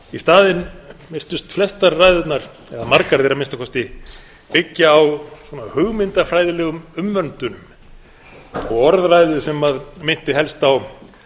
í staðinn virtust flestar ræðurnar eða margar þeirra að minnsta kosti byggja á svona hugmyndafræðilegum umvöndun og orðræðu sem minnsta helst á